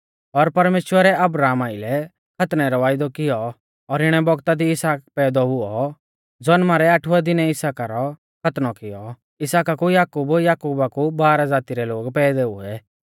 और परमेश्‍वरै अब्राहमा आइलै खतनै रौ वायदौ किऔ और इणै बौगता दी इसहाक पैदौ हुऔ ज़नमा रै आठवै दिनै इसहाका रौ खतनौ कियौ इसहाका कु याकूब याकुबा कु बारह ज़ाती रै लोग पैदै हुऐ